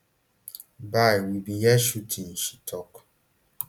bye we bin hear shooting she tok